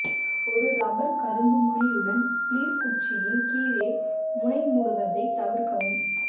ஒரு ரப்பர் கரும்பு முனையுடன் பிளிர் குச்சியின் கீழே முனை மூடுவதைத் தவிர்க்கவும்